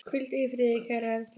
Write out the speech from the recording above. Hvíldu í friði kæra Erla.